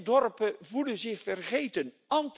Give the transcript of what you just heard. Veel dorpen voelen zich vergeten.